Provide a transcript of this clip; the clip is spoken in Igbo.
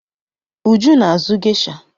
Uju na-azụ gesha.